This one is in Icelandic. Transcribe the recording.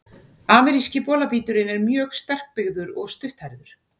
Ameríski bolabíturinn er mjög sterkbyggður og stutthærður.